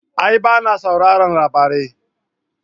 A'a ba na sauraron labari